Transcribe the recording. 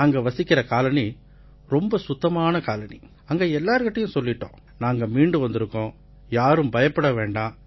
நாங்க வசிக்கற காலனி ரொம்ப சுத்தமான காலனி அங்க எல்லார்கிட்டயும் சொல்லிட்டோம் நாங்க மீண்டு வந்திருக்கோம் யாரும் பயப்பட வேண்டாம்